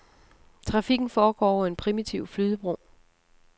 Trafikken foregår over en primitiv flydebro.